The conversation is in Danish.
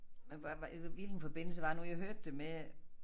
Men hva hva hvilken forbindelse var det nu jeg hørte det med